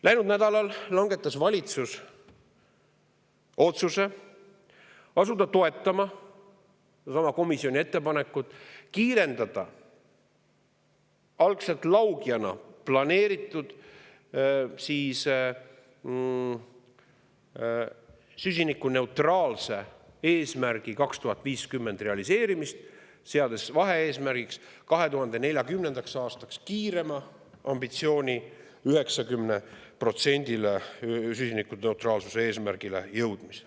Läinud nädalal langetas valitsus otsuse asuda toetama sedasama komisjoni ettepanekut kiirendada algselt laugjana planeeritud süsinikuneutraalsuse eesmärgi 2050 realiseerimist, seades vahe-eesmärgiks kiirema ambitsiooni, 2040. aastaks jõudmise 90%-le süsinikuneutraalsuse eesmärgist.